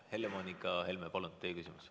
Helle-Moonika Helme, palun, teie küsimus.